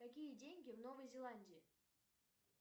какие деньги в новой зеландии